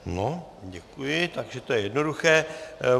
No, děkuji, takže to je jednoduché.